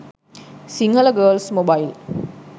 sinhala girls mobile